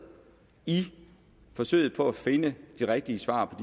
i forsøget på at finde de rigtige svar på